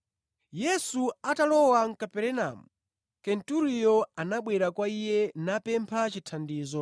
Yesu atalowa mʼKaperenamu, Kenturiyo anabwera kwa Iye napempha chithandizo,